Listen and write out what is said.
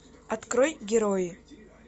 открой герои